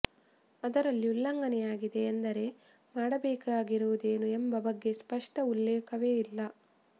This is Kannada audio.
ಅದರಲ್ಲಿ ಉಲ್ಲಂಘನೆಯಾಗಿದೆ ಎಂದರೆ ಮಾಡಬೇಕಾಗಿರುವುದೇನು ಎಂಬ ಬಗ್ಗೆ ಸ್ಪಷ್ಟ ಉಲ್ಲೇಖವೇ ಇಲ್ಲ